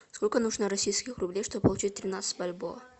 сколько нужно российских рублей чтобы получить тринадцать бальбоа